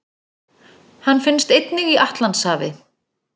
Hann finnst einnig í Atlantshafi.